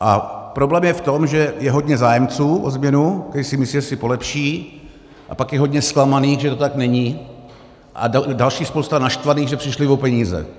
A problém je v tom, že je hodně zájemců o změnu, kteří si myslí, že si polepší, a pak je hodně zklamaných, že to tak není, a další spousta naštvaných, že přišli o peníze.